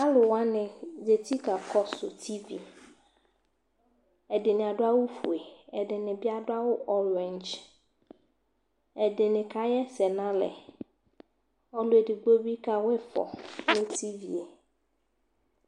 alowani zati kakɔsu tv ɛdini ado awu fue ɛdini bi ado awu ɔring ɛdini ka ɣ'ɛsɛ n'alɛ ɔlò edigbo bi kawa ifɔ no tv e